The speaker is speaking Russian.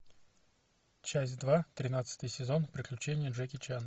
часть два тринадцатый сезон приключения джеки чана